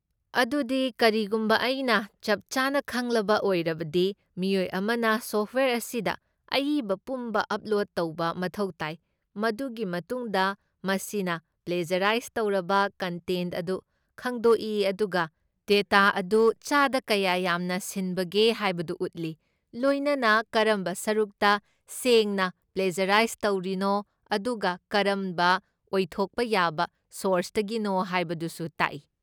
ꯑꯗꯨꯗꯤ, ꯀꯔꯤꯒꯨꯝꯕ ꯑꯩꯅ ꯆꯞꯆꯥꯅ ꯈꯪꯂꯕ ꯑꯣꯏꯔꯕꯗꯤ, ꯃꯤꯑꯣꯏ ꯑꯃꯅ ꯁꯣꯐꯠꯋꯦꯌꯔ ꯑꯁꯤꯗ ꯑꯏꯕ ꯄꯨꯝꯕ ꯑꯄ꯭ꯂꯣꯗ ꯇꯧꯕ ꯃꯊꯧ ꯇꯥꯏ, ꯃꯗꯨꯒꯤ ꯃꯇꯨꯡꯗ ꯃꯁꯤꯅ ꯄ꯭ꯂꯦꯖꯔꯥꯏꯁ ꯇꯧꯔꯕ ꯀꯟꯇꯦꯟꯠ ꯑꯗꯨ ꯈꯪꯗꯣꯛꯏ ꯑꯗꯨꯒ ꯗꯦꯇꯥ ꯑꯗꯨ ꯆꯥꯗ ꯀꯌꯥ ꯌꯥꯝꯅ ꯁꯤꯟꯕꯒꯦ ꯍꯥꯏꯕꯗꯨ ꯎꯠꯂꯤ, ꯂꯣꯏꯅꯅ ꯀꯔꯝꯕ ꯁꯔꯨꯛꯇ ꯁꯦꯡꯅ ꯄ꯭ꯂꯦꯖꯔꯥꯏꯁ ꯇꯧꯔꯤꯅꯣ ꯑꯗꯨꯒ ꯀꯔꯝꯕ ꯑꯣꯏꯊꯣꯛꯄ ꯌꯥꯕ ꯁꯣꯔꯁꯇꯒꯤꯅꯣ ꯍꯥꯏꯕꯗꯨꯁꯨ ꯇꯥꯛꯏ꯫